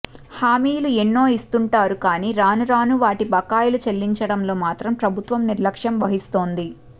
హామీలు ఎన్నోఇస్తుంటారు కానీ రాను రాను వాటి బకాయిలు చెల్లించడంలో మాత్రం ప్రభుత్వం నిర్లక్షం వహిస్తోంది